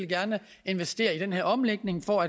investere i den her omlægning for